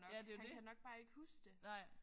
Ja det er jo det. Nej